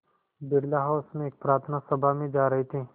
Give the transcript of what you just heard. Birla house में एक प्रार्थना सभा में जा रहे थे